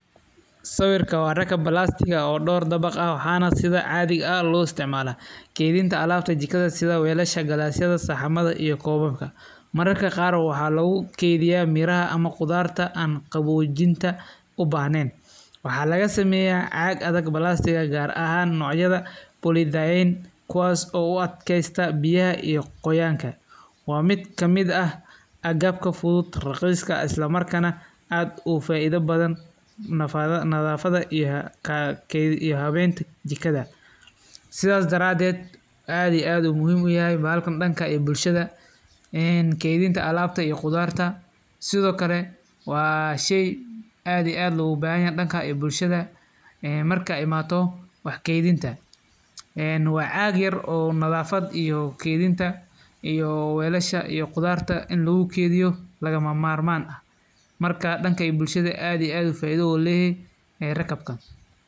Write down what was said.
Sawirka wa danka plastic oo door dabaq ah, waxana sida cadhiga loisticmala kedinta alabta jikada sidha walasha, gass yada saxamada iyo kobabka, mararka qaar waxa lagukeydiya miraxa ama qudarta ama qabojinta ubaxnen, waxa lagasameya caq adag[cd]plastic qaar ahan nocyada polyethylene kuwas oo uad keysta biyaxa iyo qoyanka, wa mid kamid ah, agabka fudud ee raqisk ah islamarkana aad ufaida badan, nadafada iyo xabeynta jikadha, sidhas daraded aad iyo aad ayu muxiim uyaxay baxalkan danka iyo bushada, ee kedinta alabta iyo qudarta, Sidhokale wa shey aad iyo aad logubaxanyaxay danka iyo bushada, een markay imato wax keydinta, een wa cag yar oo nadafad iyo keydinta iyo walasha iyo qudarta intaba lagukeydiyo, lagamamarman, marka danka bushada aad iyo aad ayu faida oguleyaxay raqabkan.